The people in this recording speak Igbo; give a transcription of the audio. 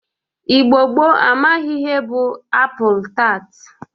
Igbo gboo amaghi ihe bụ apụl tat